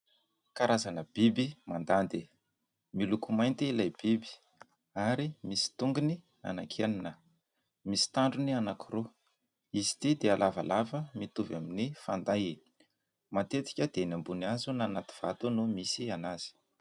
Karazana biby mandady. Miloko mainty ilay biby, ary misy tongony enina, misy tandrony anankiroa. Izy ity dia lavalava mitovy amin'ny fanday. Matetika dia eny ambony hazo na anaty vato no misy azy.